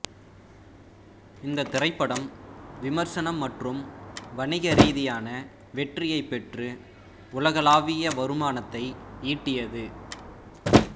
இந்த திரைப்படம் விமர்சன மற்றும் வணிக ரீதியான வெற்றியைப் பெற்று உலகளாவிய வருமானத்தை ஈட்டியது